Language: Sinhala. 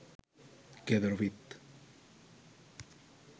ගෙදර විත්